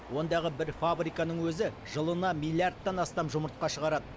ондағы бір фабриканың өзі жылына миллиардтан астам жұмыртқа шығарады